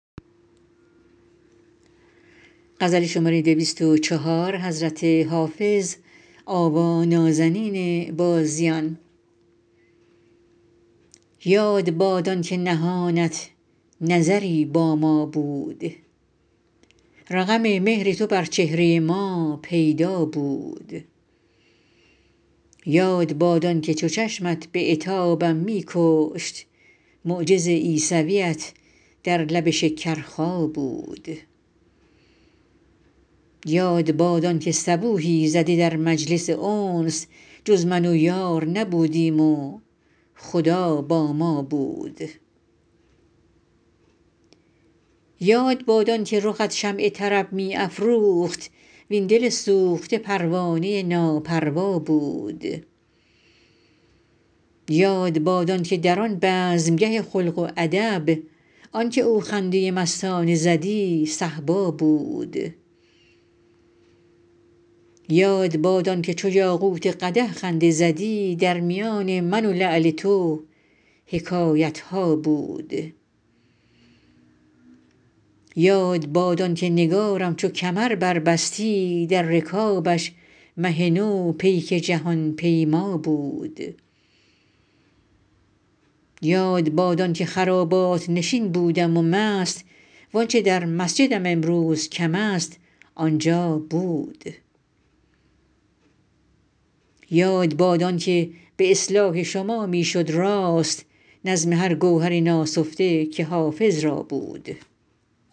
یاد باد آن که نهانت نظری با ما بود رقم مهر تو بر چهره ما پیدا بود یاد باد آن که چو چشمت به عتابم می کشت معجز عیسویت در لب شکرخا بود یاد باد آن که صبوحی زده در مجلس انس جز من و یار نبودیم و خدا با ما بود یاد باد آن که رخت شمع طرب می افروخت وین دل سوخته پروانه ناپروا بود یاد باد آن که در آن بزمگه خلق و ادب آن که او خنده مستانه زدی صهبا بود یاد باد آن که چو یاقوت قدح خنده زدی در میان من و لعل تو حکایت ها بود یاد باد آن که نگارم چو کمر بربستی در رکابش مه نو پیک جهان پیما بود یاد باد آن که خرابات نشین بودم و مست وآنچه در مسجدم امروز کم است آنجا بود یاد باد آن که به اصلاح شما می شد راست نظم هر گوهر ناسفته که حافظ را بود